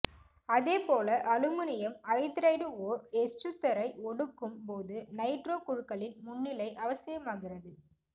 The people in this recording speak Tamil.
அதேபோல அலுமினியம் ஐதரைடு ஓர் எசுத்தரை ஒடுக்கும் போது நைட்ரோ குழுக்களின் முன்னிலை அவசியமாகிறது